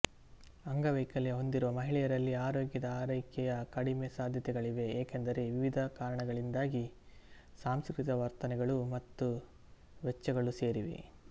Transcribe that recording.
ಅಂಗವೈಕಲ್ಯ ಹೊಂದಿರುವ ಮಹಿಳೆಯರಲ್ಲಿ ಆರೋಗ್ಯದ ಆರೈಕೆಯ ಕಡಿಮೆ ಸಾಧ್ಯತೆಗಳಿವೆ ಏಕೆಂದರೆ ವಿವಿಧ ಕಾರಣಗಳಿಂದಾಗಿ ಸಾಂಸ್ಕೃತಿಕ ವರ್ತನೆಗಳು ಮತ್ತು ವೆಚ್ಚಗಳು ಸೇರಿವೆ